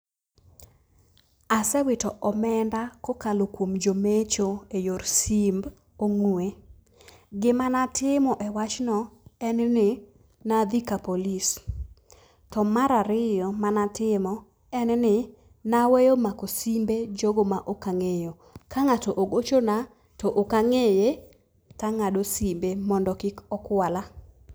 Asewito omenda kokalo kuom jomecho eyor simb ong'ue. Gima natimo e wachno, en ni, nadhi kapolis. To mar ariyo manatimo, en ni naweyo mako simbe jogo ma ok ang'eyo. Ka ng'ato ogochona to ok ang'eye, tang'ado simbe mondo kik okwala.